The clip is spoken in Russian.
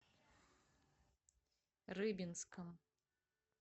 рыбинском